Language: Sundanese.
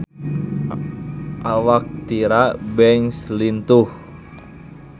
Awak Tyra Banks lintuh